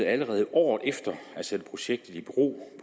allerede året efter at sætte projektet i bero